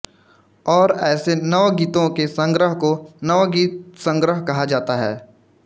और ऐसे नवगीतों के संग्रह को नवगीतसंग्रह कहा जाता है